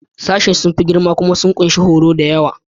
Sashen sun fi girma kuma sun ƙunshi horo da yawa.